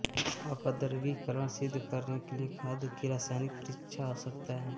अपद्रव्यीकरण सिद्ध करने के लिए खाद्य की रासायनिक परीक्षा आवश्यक है